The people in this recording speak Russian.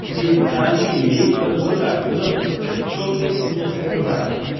перестаньте лезть в эту задачу вы должны составить чёткое техническое задание